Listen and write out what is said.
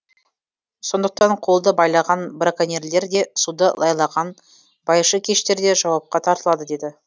сондықтан қолды байлаған браконьерлер де суды лайлаған байшыкештер де жауапқа тартылады деді